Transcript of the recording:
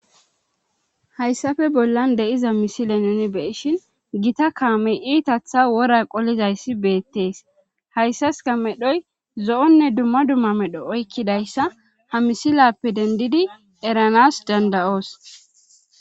Hayssafe bollan de'iza misile nuni beishin gita kaamey iitatha wora qolizayssi beettees hayssaska medhoy zo'onne dumma dumma medho oykkidayssa ha misilappe dendidi eranas dandayoos